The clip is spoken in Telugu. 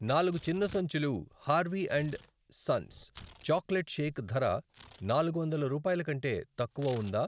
నాలుగు చిన్న సంచులు Harvey and sons chocolate shake ధర నాలుగు వందల రూపాయలకంటే తక్కువ ఉందా?